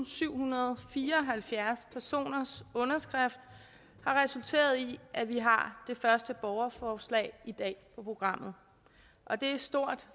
syvhundrede og fireoghalvfjerds personers underskrifter har resulteret i at vi har det første borgerforslag i dag på programmet og det er stort